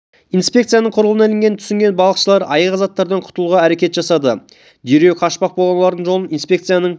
инспекцияның құрығына ілінгенін түсінген балықшалыр айғақ заттардан құтылуға әрекет жасады дереу қашпақ болған олардың жолын инспекцияның